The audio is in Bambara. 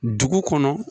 Dugu kɔnɔ